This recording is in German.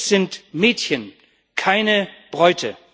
Es sind Mädchen, keine Bräute.